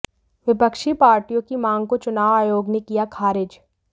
विपक्षी पार्टियों की माँग को चुनाव आयोग ने किया ख़ारिज